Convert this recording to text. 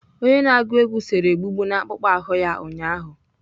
Onye na-agụ egwú sere egbugbu n'akpụkpọ ahụ ya ụnyaahụ.